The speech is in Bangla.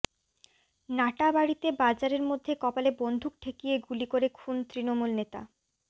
নাটাবাড়িতে বাজারের মধ্যে কপালে বন্দুক ঠেকিয়ে গুলি করে খুন তৃণমূল নেতা